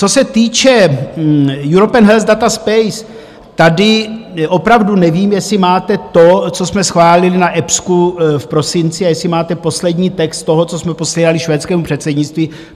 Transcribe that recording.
Co se týče European Health Data Space, tady opravdu nevím, jestli máte to, co jsme schválili na EPSCO v prosinci, a jestli máte poslední text toho, co jsme posílali švédskému předsednictví.